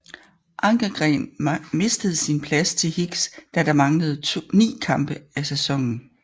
Ankergren mistede sin plads til Higgs da der manglede 9 kampe af sæsonen